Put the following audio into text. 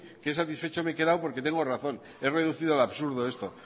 qué satisfecha me he quedado porque tengo razón es reducir al absurdo esto